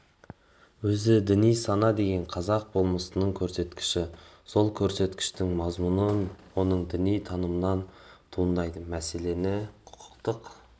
өзі діни сана деген қазақ болмысының көрсеткіші сол көрсеткіштің мазмұны оның діни танымынан туындайды мәселені құқықтық